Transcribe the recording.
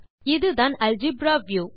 இது தான் algebra view